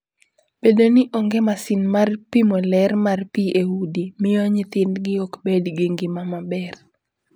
Bedo ni onge masin mar pimo ler mar pi e udi, miyo nyithindgi ok bed gi ngima maber.